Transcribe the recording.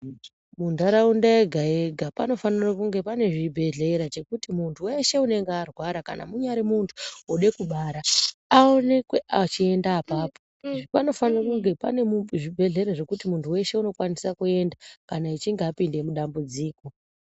Muntaraunda yega-yega panofanire kunge pane chibhedhlera chokuti muntu veshe unenge arwara kana munyari muntu vode kubara. Aonekwe achienda apapo panofane kunge pane zvibhedhlera zvekuti muntu veshe unokwanise kuenda kana achinge apinde mudambudziko.